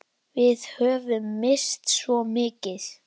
Við höfum misst svo mikið.